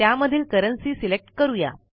त्यामधील currency select करूया